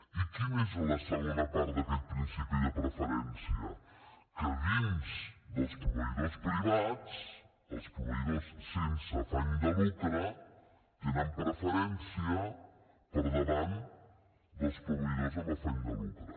i quina és la segona part d’aquest principi de preferència que dins dels proveïdors privats els proveïdors sense afany de lucre tenen preferència per davant dels proveïdors amb afany de lucre